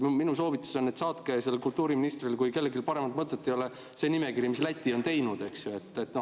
Minu soovitus on, et saatke kultuuriministrile, kui kellelgi paremat mõtet ei ole, see nimekiri, mis Läti on teinud.